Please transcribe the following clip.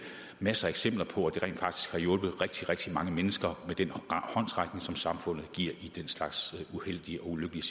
masser af eksempler på at det rent faktisk har hjulpet rigtig rigtig mange mennesker med den håndsrækning som samfundet giver i den slags uheldige og ulykkelige